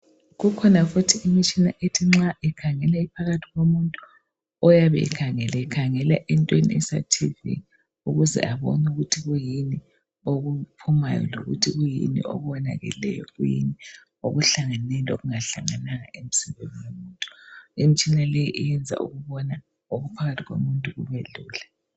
Kukhona futhi imitshina ethi nxa ikhangela iphakathi komuntu oyabe ekhangele ekhangela entweni esa thivi ukuze abone ukuthi kuyini okuphumayo lokuthi kuyini okuwonakeleyo kuyini okuhlangeneyo lokungahlangananga emzimbeni womuntu , imitshina le iyeza ukubona okungaphakathi komuntu kube lula.